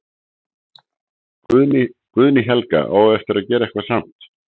Guðný Helga: Á eftir að gera eitthvað samt?